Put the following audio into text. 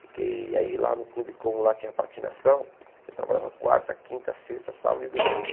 Fiquei aí lá no clube, como lá tinha patinação, eu trabalhava quarta, quinta, sexta, sábado e domingo.